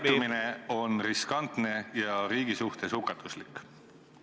... käitumine on riskantne ja riigi suhtes hukatuslik?